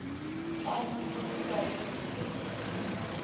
clandestine floating university